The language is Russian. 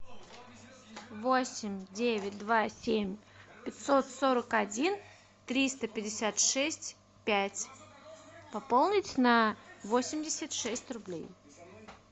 восемь девять два семь пятьсот сорок один триста пятьдесят шесть пять пополнить на восемьдесят шесть рублей